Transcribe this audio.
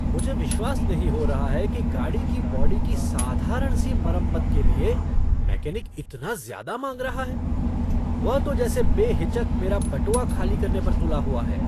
मुझे विश्वास नहीं हो रहा है कि गाड़ी की बॉडी की साधारण सी मरम्मत के लिए मैकेनिक इतना ज्यादा माँग रहा है! वह तो जैसे बेहिचक मेरा बटुआ खाली करने पर तुला हुआ है।